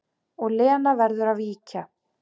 Og Lena verður að víkja.